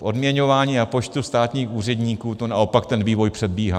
V odměňování a počtu státních úředníků to naopak ten vývoj předbíhá.